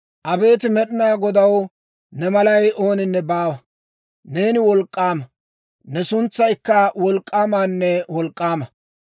Abeet Med'inaa Godaw, ne malay ooninne baawa. Neeni wolk'k'aama; ne suntsaykka wolk'k'aamanne wolk'k'aama.